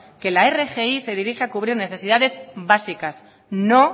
que la rgi se dirige a cubrir necesidades básicas no